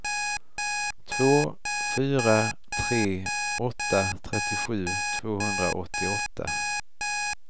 två fyra tre åtta trettiosju tvåhundraåttioåtta